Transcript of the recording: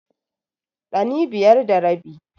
Ɗani biyar da rabi.